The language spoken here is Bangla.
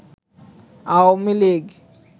আওয়ামী লীগ